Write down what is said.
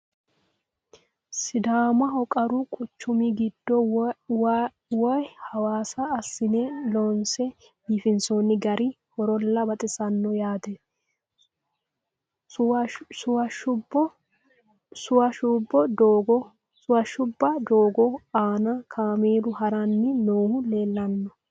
Sidaamaho qaru quchummi giddo woy hawassa asinne loonse biifinsoonni gari horolla baxissanno yaatte. Suwashsbo doogo aanna kaameelu haranni noohu leelanno